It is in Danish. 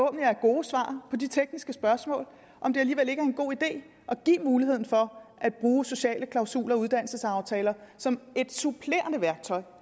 er gode svar på de tekniske spørgsmål om det alligevel ikke er en god idé at give muligheden for at bruge sociale klausuler og uddannelsesaftaler som et supplerende værktøj